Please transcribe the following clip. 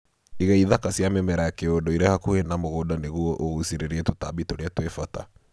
Iga ithaka cia mĩmera ya kĩndũire hakuhĩ na mũgũnda nĩguo ũgucĩrĩrie tũtambi tũrĩa twĩbata.